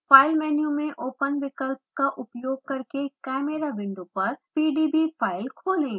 file menu में open विकल्प का उपयोग करके chimera विंडो पर pdb फाइल खोलें